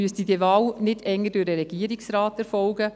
Müsste diese Wahl nicht eher durch den Regierungsrat erfolgen?